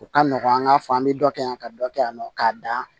O ka nɔgɔn an k'a fɔ an bɛ dɔ kɛ yan ka dɔ kɛ yan nɔ k'a dan